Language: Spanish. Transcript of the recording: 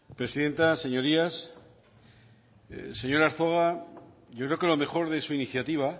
presidenta señorías señor arzuaga yo creo que lo mejor de su iniciativa